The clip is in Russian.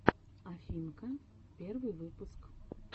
афинка первый выпуск